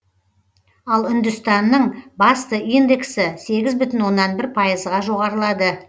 ал үндістанның басты индексі сегіз бүтін оннан бір пайызға жоғарылады